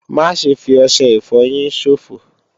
Má ṣe fi ọṣẹ ìfọyín ṣòfò!